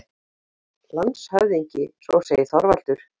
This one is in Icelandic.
LANDSHÖFÐINGI: Svo segir Þorvaldur.